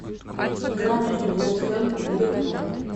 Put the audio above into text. игра между вест хэм и ливерпуль